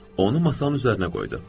Onu masanın üzərinə qoydu.